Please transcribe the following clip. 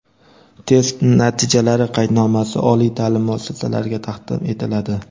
test natijalari qaydnomasi oliy ta’lim muassasalariga taqdim etiladi.